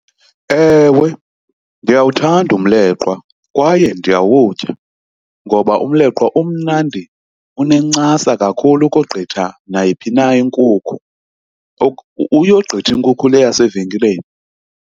Ewe, ndiyawuthanda umleqwa kwaye ndiyawutya ngoba umleqwa umnandi, unencasa kakhulu ukogqitha nayiphi na inkukhu. Uyogqitha inkukhu le yase evenkileni.